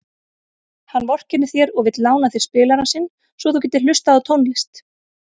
Hann vorkennir þér og vill lána þér spilarann sinn svo þú getir hlustað á tónlist.